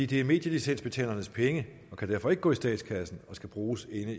det er medielicensbetalernes penge og de kan derfor ikke gå i statskassen men skal bruges inden